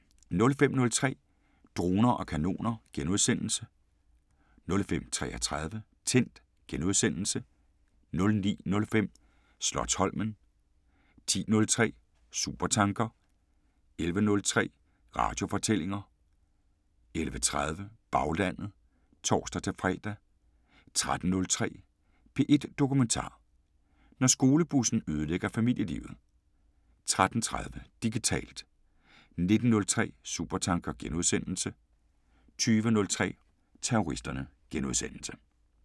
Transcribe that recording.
05:03: Droner og kanoner * 05:33: Tændt * 09:05: Slotsholmen 10:03: Supertanker 11:03: Radiofortællinger 11:30: Baglandet (tor-fre) 13:03: P1 Dokumentar: Når skolebussen ødelægger familielivet 13:30: Digitalt 19:03: Supertanker * 20:03: Terroristerne *